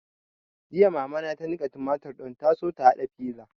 Jiya mama ta niƙa tumatur don ta so ta haɗa fiza